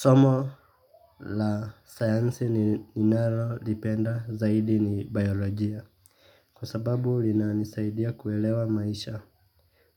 Somo la sayansi ninalolipenda zaidi ni biolojia. Kwa sababu linanisaidia kuelewa maisha.